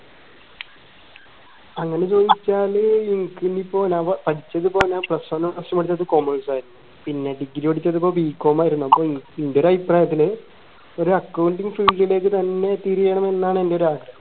അങ്ങനെ ചോദിച്ചാൽ ഇനിക്ക് ഇനി ഇപ്പോ ഞാൻ പ പഠിച്ചത് plus one plus two പഠിച്ചത് commerce ആയിരുന്നു പിന്നെ degree പഠിച്ചത് ഇപ്പോ bcom ആയിരുന്നു അപ്പോ ഇൻറെ അഭിപ്രായത്തിൽ ഒരു accounting field ലേക്ക് തന്നെ തിരിയണം എന്നാണ് ഇൻറെ ഒരാഗ്രഹം